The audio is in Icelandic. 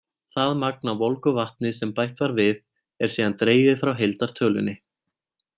Það magn af volgu vatni sem bætt var við, er síðan dregið frá heildartölunni.